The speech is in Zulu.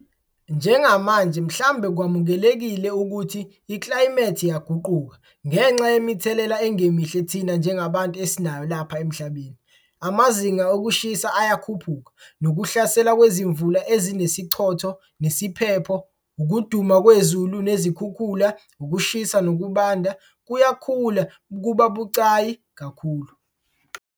Njengamanje mhlambe kwamukelekile ukuthi iklayimethi iyaguquka ngengxa yemithelela engemihle thina njengabantu esinayo lapha emhlabeni. Amazinga okushisa ayakhuphuka, nokuhlasela kwezimvulo ezinesichotho nesiphepho, ukuduma kwezulu nezikhukhula, ukushisa nokubanda - kuyakhula futhi kuba bucayi kakhulu.